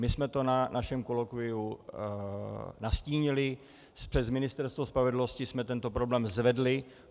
My jsme to na našem kolokviu nastínili, přes Ministerstvo spravedlnosti jsme tento problém zvedli.